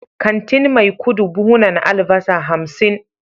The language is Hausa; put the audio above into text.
kantin maikudu buhunan albasa hamsin